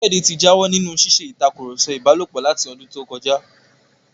Káyọ̀dé ti jáwọ́ nínú ṣíṣe ìtakùrọ̀sọ ìbálòpọ̀ láti ọdún tó kọjá